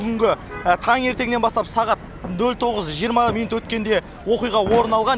бүгінгі таңертеңнен бастап сағат нөл тоғыз жиырма минут өткенде оқиға орын алған